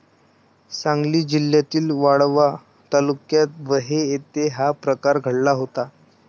सांगली जिल्ह्यातील वाळवा तालुक्यात बहे येथे हा प्रकार घडला होता.